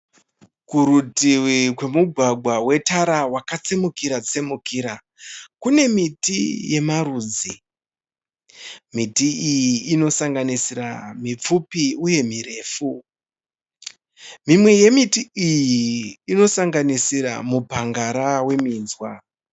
Kurutivi kwemugwagwa wetara wakatsemukira tsemukira kune miti yemarudzi. Miti iyi inosanganisira mipfupi uye mirefu. Mimwe yemiti iyi inosanganisira mupangara weminzwa